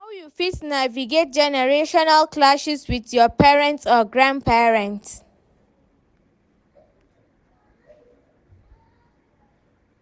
How you fit navigate generational clashes with your parents or grandparents?